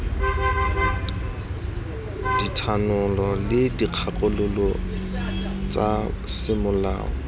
dithanolo le dikgakololo tsa semolao